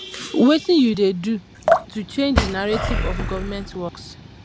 wetin you dey do to change di narrative of government workes